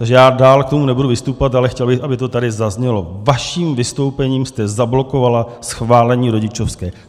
Takže já dál k tomu nebudu vystupovat, ale chtěl bych, aby to tady zaznělo: Vaším vystoupením jste zablokovala schválení rodičovské!